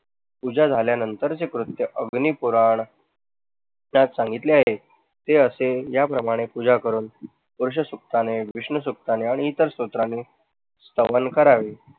पूजा झाल्यानंतरचे कृत्य जुनी पुराण यात सांगितले आहे. कि असे या प्रमाणे पूजा करून आणि इतर स्तोत्राने श्रवण करावे.